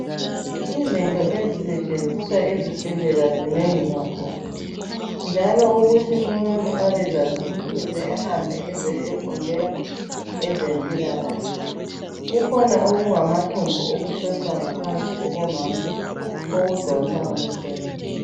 Izinto ezisetshenziswa ezibhedlela zinengi kakhulu njalo ukuthi umuntu abezazi kufuze ahambe ayefundela ezempilakahle kukhona okungamathumbu okuhlohlwa ngaphansi kwabomama okudonsa umchemo